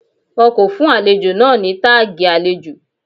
Wọn kò fún àlejò náà ní táàgì àlejò.